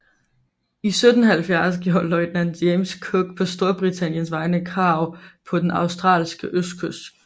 I 1770 gjorde løjtnant James Cook på Storbritanniens vegne krav på den australske østkyst